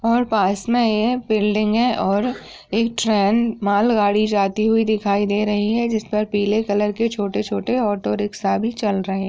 और पास में ये बिल्डिग है और एक ट्रेन मॉल गाड़ी जाती हुई दिखाई दे रही है जिस पर पिले कलर के छोटे छोटे ओटो रिक्सा भी चल रहे --